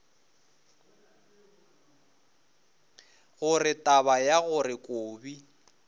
gore taba ya gore kobi